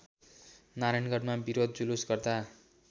नारायणगढमा विरोध जुलुस गर्दा